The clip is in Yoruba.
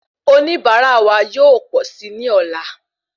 Oníbara wa yóò pọ sí ní ọ̀la